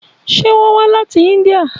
Ṣé wón wá láti Índíà?